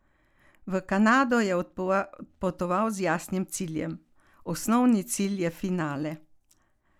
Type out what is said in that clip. V Kanado je odpotoval z jasnim ciljem: "Osnovni cilj je finale.